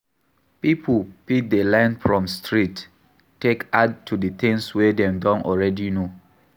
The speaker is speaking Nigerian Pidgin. Pipo fit learn from street take add to di things wey dem don already know